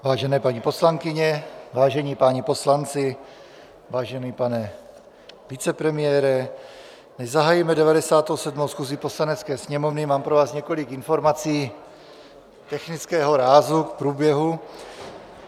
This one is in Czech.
Vážené paní poslankyně, vážení páni poslanci, vážený pane vicepremiére, než zahájíme 97. schůzi Poslanecké sněmovny, mám pro vás několik informací technického rázu k průběhu.